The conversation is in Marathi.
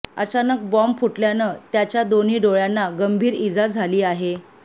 अचानक बॉम्ब फुटल्यानं त्याच्या दोन्ही डोळ्यांना गंभीर ईजा झाली आहे